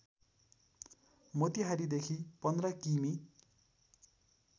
मोतिहारीदेखि १५ किमि